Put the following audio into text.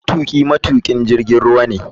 Matuki matukin jirgin ruwa ne.